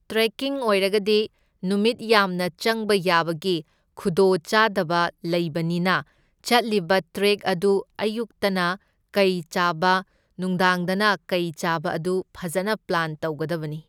Trekking ꯑꯣꯏꯔꯒꯗꯤ ꯅꯨꯃꯤꯠ ꯌꯥꯝꯅ ꯆꯪꯕ ꯌꯥꯕꯒꯤ ꯈꯨꯗꯣꯡꯆꯥꯗꯕ ꯂꯩꯕꯅꯤꯅ ꯆꯠꯂꯤꯕ ꯇ꯭ꯔꯦꯛ ꯑꯗꯨ ꯑꯌꯨꯛꯇꯅ ꯀꯩ ꯆꯥꯕ ꯅꯨꯡꯗꯥꯡꯗꯅ ꯀꯩ ꯆꯥꯕ ꯑꯗꯨ ꯐꯖꯅ ꯄ꯭ꯂꯥꯟ ꯇꯧꯒꯗꯕꯅꯤ꯫